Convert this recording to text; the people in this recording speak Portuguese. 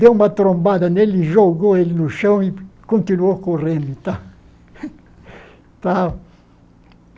Deu uma trombada nele, jogou ele no chão e continuou correndo e tal.